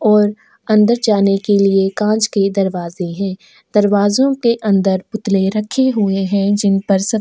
और अंदर जाने के लिए कांच के दरवाजे हैं दरवाजों के अंदर पुतले रखे हुए हैं जिन पर स --